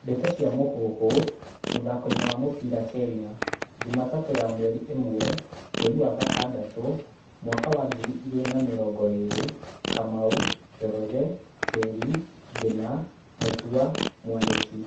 Ndeto cia Mũhuhu, mũthakoini wa mũbĩra Kenya, Jumatatũ ya mweri ĩmwe, mweri wa gatandatũ, mwaka wa ngiri igĩrĩ na mĩrongo ĩrĩ:Kamau, Njoroge, Njeri, Ngina, Mutua, Mwaniki